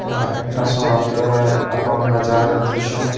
এটা একটা সড়কের এবং বাজারের দৃশ্য।